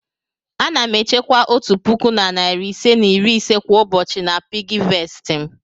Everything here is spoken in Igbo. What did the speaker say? Ana m echekwa otu puku na narị ise na iri ise kwa ụbọchị na piggyvest m.